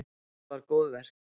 Þetta var góðverk.